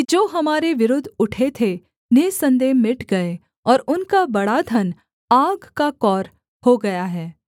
जो हमारे विरुद्ध उठे थे निःसन्देह मिट गए और उनका बड़ा धन आग का कौर हो गया है